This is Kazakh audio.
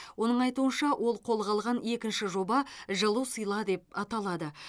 оның айтуынша ол қолға алған екінші жоба жылу сыйла деп аталады